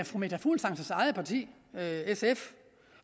fru meta fuglsangs eget parti sf